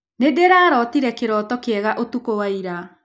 Nĩndĩrarootire kĩroto kĩega ũtukũ wa ira.